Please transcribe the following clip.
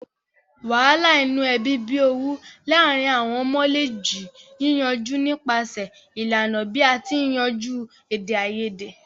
Wàhàlà inu ebí bi owú láàrin àwon ọmọ le ji yíyanjú nipasẹ̀ ìlànà bi a ti n yanjú èdèayedè